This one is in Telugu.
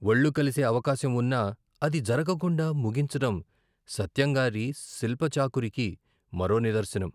ఒళ్ళు కలిసే అవకాశం వున్నా అది జరగకుండా ముగించడం సత్యంగారి శిల్పచాకురికి మరో నిదర్శనం.